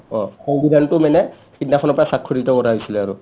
অ, সংবিধানটো মানে সিদিনাখনৰ পৰা স্ৱাক্ষৰিত কৰা হৈছিলে আৰু